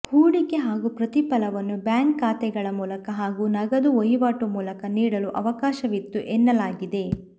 ಹೂಡಿಕೆ ಹಾಗೂ ಪ್ರತಿಫಲವನ್ನು ಬ್ಯಾಂಕ್ ಖಾತೆಗಳ ಮೂಲಕ ಹಾಗೂ ನಗದು ವಹಿವಾಟು ಮೂಲಕ ನೀಡಲು ಅವಕಾಶವಿತ್ತು ಎನ್ನಲಾಗಿದೆ